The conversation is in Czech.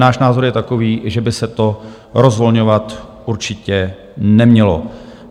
Náš názor je takový, že by se to rozvolňovat určitě nemělo.